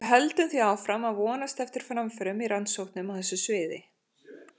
Við höldum því áfram að vonast eftir framförum í rannsóknum á þessu sviði.